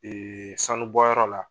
sanu bɔyɔrɔ la.